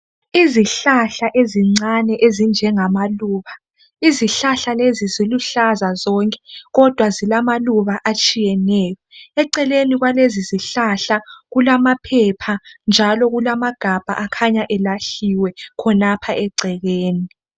Izihlahla ezincane ezinjengamaluba. Izihlahla lezi ziluhlaza zonke kodwa zilamaluba atshiyeneyo. Eceleni kwalezizihlahla kulamaphepha njalo kulamagabha akhanya elahliwe khonapha egcekeni.